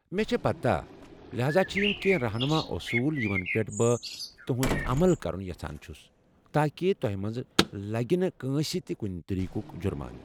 مےٚ چھےٚ پتاہ ، لہذا چھ یم کیٚنٛہہ رہنُما اصول یمن پٮ۪ٹھ بہٕ تہٗند عمل كرُن یژھان چھس تاكہِ توہہِ منز لگہِ نہٕ كٲنٛسہِ تہِ كٗنہِ طریقُک جرمانہٕ۔